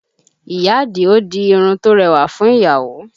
Ìyá Àdìó di irun tó rẹwà fún ìyàwó